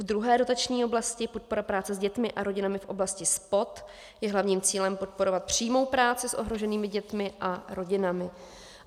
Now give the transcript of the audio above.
V druhé dotační oblasti Podpora práce s dětmi a rodinami v oblasti SPOD je hlavním cílem podporovat přímou práci s ohroženými dětmi a rodinami.